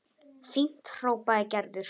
Fínt hrópaði Gerður.